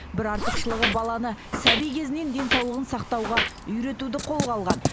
бір артықшылығы баланы сәби кезінен денсаулығын сақтауға үйретуді қолға алған